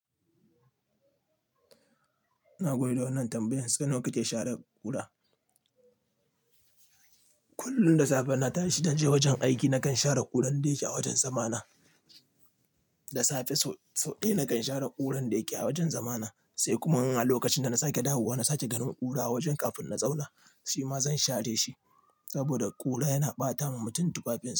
Ina koyar da wannan tambayan sau nawa kake share ƙura. Kullum da safe na tashi zan je wajen aiki na kan share ƙuran da yake a wajen zama na. Da safe sau, sau ɗaya na kan share ƙuran da yake a wajen zama na sai kuma in a lokacin da na sake dawowa na sake ganin ƙura a wajen kafin na zauna, shi ma zan share shi saboda ƙura yana ɓata wa mutum tufafin.